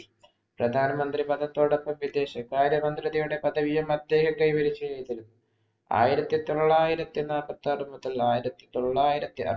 പ്രധാനമന്ത്രിപദത്തോടൊപ്പം വിദേശ കാര്യമന്ത്രിയുടെ പദവിയും അദ്ദേഹത്തെ ആയിരത്തി തൊള്ളായിരത്തി നാപ്പത്താറ് മുതല്‍ ആയിരത്തി തൊള്ളായിരത്തി അറു